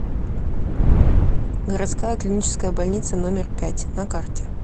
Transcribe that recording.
городская клиническая больница номер пять на карте